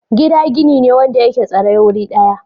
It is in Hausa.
Gida gini ne wanda yake tsaye wuri daya.